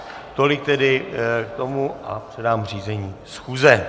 Tolik tedy k tomu a předám řízení schůze.